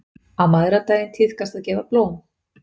Á mæðradaginn tíðkast að gefa blóm.